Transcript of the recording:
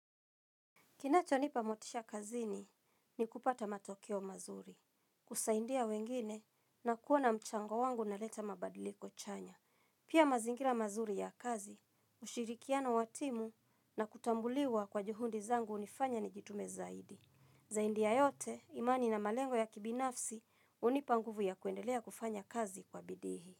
Kinachonipa motisha kazini ni kupata matokeo mazuri, kusaidia wengine na kuona mchango wangu unaleta mabadiliko chanya. Pia mazingira mazuri ya kazi, ushirikiano wa timu na kutambuliwa kwa juhudi zangu unifanya nijitume zaidi. Zaidi ya yote, imani na malengo ya kibinafsi hunipa nguvu ya kuendelea kufanya kazi kwa bidii.